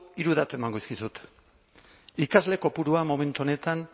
hiru datu emango dizkizut ikasle kopurua momentu honetan